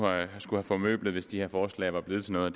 skulle have formøblet hvis de her forslag var blevet til noget